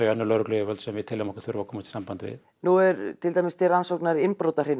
önnur lögregluyfirvöld sem við teljum okkur þurfa að komast í samband við nú er til rannsóknar innbrotahrina